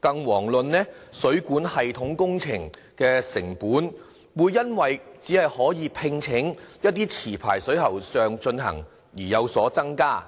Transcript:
更遑論水管系統工程的成本會因為只可以聘請持牌水喉匠進行而有所增加。